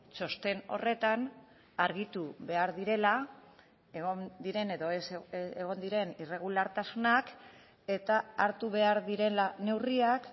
txosten horretan argitu behar direla egon diren edo ez egon diren irregulartasunak eta hartu behar direla neurriak